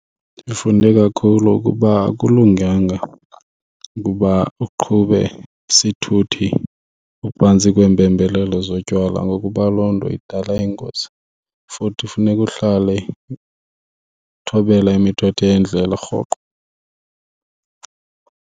Ndifunde kakhulu ukuba akulunganga ukuba uqhube isithuthi uphantsi kweempembelelo zotywala ngokuba loo nto idala iingozi, futhi funeka uhlale uthobela imithetho yendlela rhoqo.